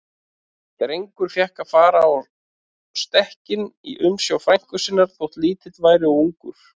Drengur fékk að fara á stekkinn í umsjá frænku sinnar, þótt lítill væri og ungur.